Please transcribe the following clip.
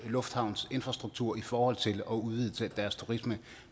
lufthavnsinfrastruktur i forhold til at udvide deres turisme